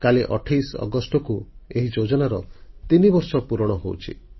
କାଲି 28 ଅଗଷ୍ଟକୁ ଏହି ଯୋଜନାର ତିନିବର୍ଷ ପୁରଣ ହେଉଛି